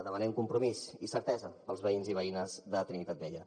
demanem compromís i certesa pels veïns i veïnes de trinitat vella